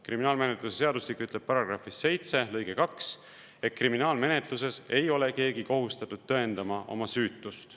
Kriminaalmenetluse seadustik ütleb § 7 lõikes 2, et kriminaalmenetluses ei ole keegi kohustatud tõendama oma süütust.